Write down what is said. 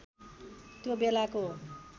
त्यो बेलाको